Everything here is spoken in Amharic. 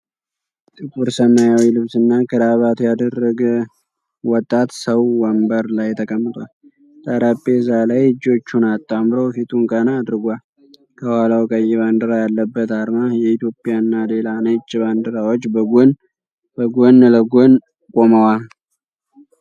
ጥቁር ሰማያዊ ልብስና ክራባት ያደረገ ወጣት ሰው ወንበር ላይ ተቀምጧል። ጠረጴዛ ላይ እጆቹን አጣምሮ ፊቱን ቀና አድርጓል። ከኋላው ቀይ ባንዲራ ያለበት ዓርማ፣ የኢትዮጵያና ሌላ ነጭ ባንዲራዎች በጎን ለጎን ቆመዋል።